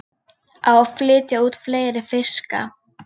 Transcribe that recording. Á að flytja út fleiri fiska